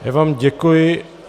Já vám děkuji.